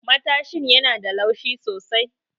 Matashin yana da laushi sosai.